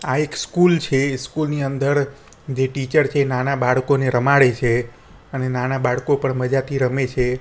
આ એક સ્કૂલ છે સ્કૂલ ની અંદર જે ટીચર છે એ નાના બાળકોને રમાડે છે અને નાના બાળકો પણ મજાથી રમે છે.